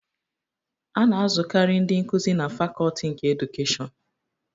A na-azụkarị ndị nkuzi na Fakọlti nke Edukeshịọnu.